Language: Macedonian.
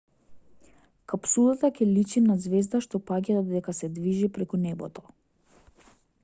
капсулата ќе личи на ѕвезда што паѓа додека се движи преку небото